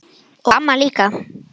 Og amma líka.